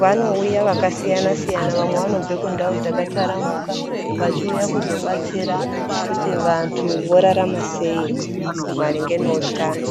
Vanouya vakasiyana siyana vamwe vanobve kundawo dzakataramuka vachiuya kuzobatsira kuti vantu vorarama sei maringe nohutano.